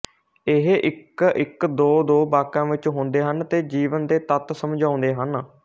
ਇਹ ਇਕਇਕਦੋਦੋ ਵਾਕਾਂ ਵਿੱਚ ਹੁੰਦੇ ਹਨ ਤੇ ਜੀਵਨ ਦੇ ਤੱਤ ਸਮਝਾਉਂਦੇ ਹਨ